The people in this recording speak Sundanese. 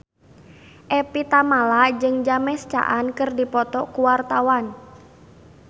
Evie Tamala jeung James Caan keur dipoto ku wartawan